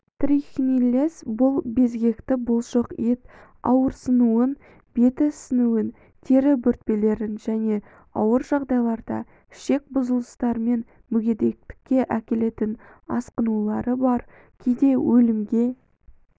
трихинеллез бұл безгекті бұлшық ет ауырсынуын беті ісінуін тері бөртпелерін және ауыр жағдайларда ішек бұзылыстарымен мүгедектікке әкелетін асқынулары бар кейде өлімге